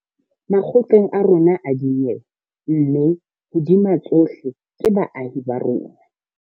Makgotleng a rona a dinyewe mme, hodima tsohle, ke baahi ba rona.